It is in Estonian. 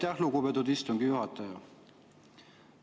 Aitäh, lugupeetud istungi juhataja!